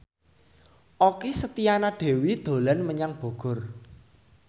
Okky Setiana Dewi dolan menyang Bogor